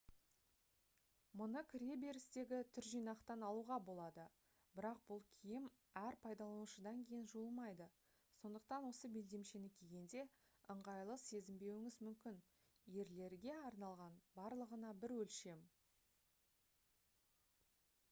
мұны кіре берістегі түржинақтан алуға болады бірақ бұл киім әр пайдаланушыдан кейін жуылмайды сондықтан осы белдемшені кигенде ыңғайлы сезінбеуіңіз мүмкін ерлерге арналған барлығына бір өлшем